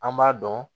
An b'a dɔn